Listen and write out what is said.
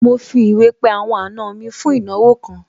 Mo fi ìwé pé àwọn àna mi fún ìnáwó kan